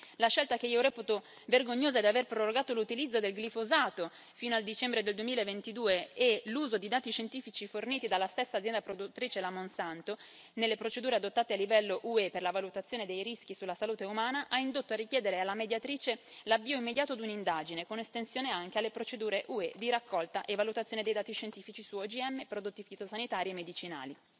La scelta, che io reputo vergognosa, di prorogare l'utilizzo del glifosato fino al dicembre del 2022 e l'uso di dati scientifici forniti dalla stessa azienda produttrice, la Monsanto, nelle procedure adottate a livello UE per la valutazione dei rischi sulla salute umana hanno indotto a richiedere alla Mediatrice l'avvio immediato di un'indagine, con estensione anche alle procedure UE di raccolta e valutazione dei dati scientifici su OGM, prodotti fitosanitari e medicinali.